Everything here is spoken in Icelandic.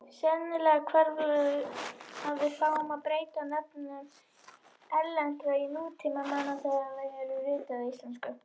Sennilega hvarflaði að fáum að breyta nöfnum erlendra nútímamanna þegar þau eru rituð á íslensku.